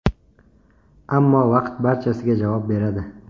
Ammo vaqt barchasiga javob beradi.